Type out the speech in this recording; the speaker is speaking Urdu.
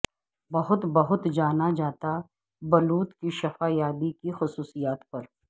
بہت بہت جانا جاتا بلوط کی شفا یابی کی خصوصیات پر